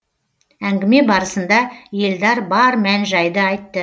әңгіме барысында елдар бар мән жайды айтты